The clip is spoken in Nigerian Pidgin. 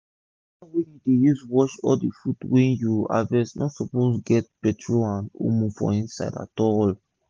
wata wey u dey use wash all d fud wey u harvest no suppose get petrol and omo for inside at all